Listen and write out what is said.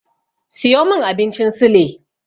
Siyo min abincin sule.